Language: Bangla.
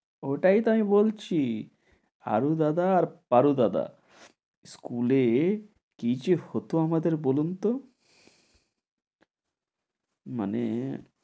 ওটাই তো আমি বলছি, হারু দাদা আর পারু দাদা। school এ কী যে হত আমাদের বলুন তো? মানে